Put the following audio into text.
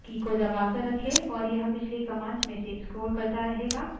की को दबाकर रखें और यह पिछली commands में से स्क्रोल करता रहेगा